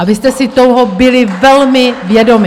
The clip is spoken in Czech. A vy jste si toho byli velmi vědomi.